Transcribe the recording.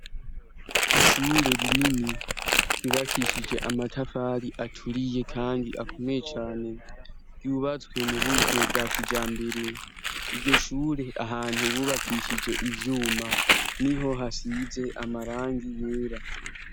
Ishure rinini ryubakishije amatafari aturiye, kandi akomeye cane ryubazwe mu buryo bwa kija mbere iryo shure ahantu bubakishije ivyuma ni ho hasize amarangi yera.